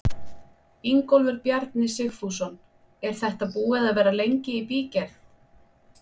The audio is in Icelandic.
Ingólfur Bjarni Sigfússon: Er þetta búið að vera lengi í bígerð?